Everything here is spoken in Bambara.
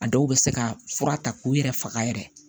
A dɔw bɛ se ka fura ta k'u yɛrɛ faga yɛrɛ